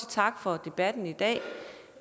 tak for debatten i dag